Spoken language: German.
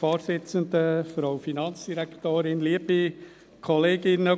Kommissionssprecher der FiKo-Mehrheit.